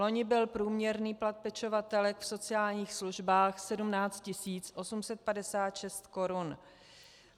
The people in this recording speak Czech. Loni byl průměrný plat pečovatelek v sociálních službách 17 856 korun.